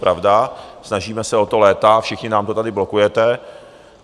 Pravda, snažíme se o to léta, všichni nám to tady blokujete.